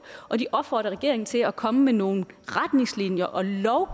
og de opfordrer regeringen til at komme med nogle retningslinjer og